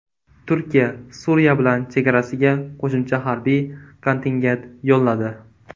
Turkiya Suriya bilan chegarasiga qo‘shimcha harbiy kontingent yo‘lladi.